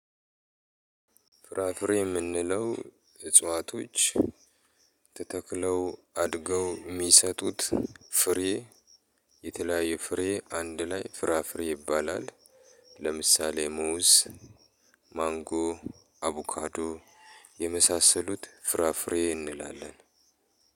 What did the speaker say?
ፍራፍሬ የምንለው እጽዋቶች ተተክለው አድገው የሚሰጡት ፍሬ የተለያየ ፍሬ አንድ ላይ ፍራፍሬ ይባላል። ለምሳሌ ሙዝ፣ ማንጎ፣ አቡካዶ የመሳሰሉት ፍራፍሬ እንላለን።